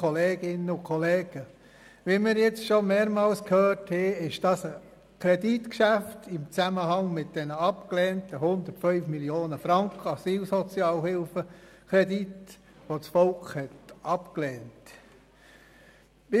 Wie wir schon mehrmals gehört haben, steht das Kreditgeschäft im Zusammenhang mit den 105 Mio. Franken des Asylsozialhilfekredits, den das Volk abgelehnt hatte.